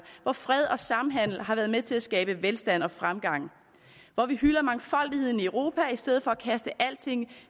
hvor fred og samhandel har været med til at skabe velstand og fremgang og hvor vi hylder mangfoldigheden i europa i stedet for at kaste alting